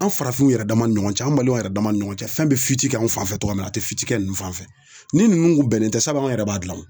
An farafinw yɛrɛ dama ni ɲɔgɔn cɛ an balimanw yɛrɛ dama ni ɲɔgɔn cɛ fɛn bɛ kɛ an fan fɛ cogo min na a tɛ kɛ ninnu fan fɛ ni ninnu bɛnnen tɛ sabu an yɛrɛ b'a dilan